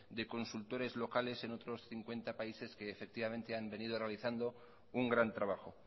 de consultores locales en otros cincuenta países que han venido realizando un gran trabajo